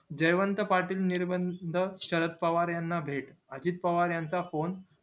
जयवंत पाटील निर्बंध शरद पवार याना भेट अजित पवार यांचा phone